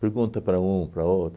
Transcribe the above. Pergunta para um, para outro.